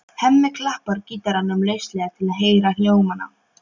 Hemmi klappar gítarnum lauslega til að heyra hljómana.